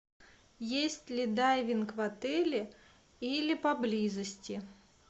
есть ли дайвинг в отеле или поблизости